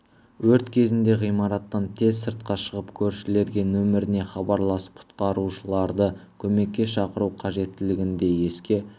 өрт кезінде ғимараттан тез сыртқа шығып көршілерге нөміріне хабарласып құрқарушыларды көмекке шақыру қажеттігін де еске